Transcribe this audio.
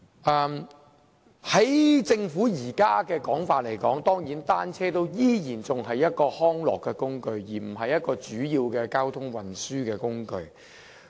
按照政府現時的說法，單車仍然是一種康樂工具，而非主要的交通運輸工具。